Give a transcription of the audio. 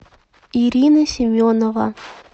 ирина семенова